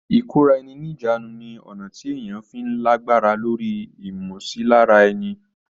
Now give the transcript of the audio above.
ìkóra ẹni níjàánu ni ọ̀nà tí èèyàn fi ń lágbára lóri ìmọsilára ẹni.